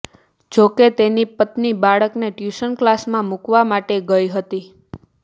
જો કે તેની પત્ની બાળકને ટયૂશન ક્લાસમા મૂકવા માટે ગઈ હતી